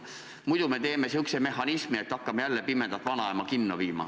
Muidu me teeme sellise mehhanismi, et hakkame jälle pimedat vanaema kinno viima.